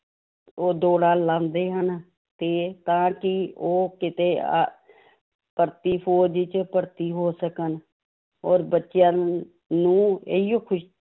ਉਹ ਦੋੜ੍ਹਾਂ ਲਾਉਂਦੇ ਹਨ ਤੇ ਤਾਂ ਕਿ ਉਹ ਕਿਤੇ ਅਹ ਭਰਤੀ ਫ਼ੌਜ਼ 'ਚ ਭਰਤੀ ਹੋ ਸਕਣ, ਔਰ ਬੱਚਿਆਂ ਨੂੰ ਨੂੰ ਇਹੀਓ ਖ਼ੁਸ਼~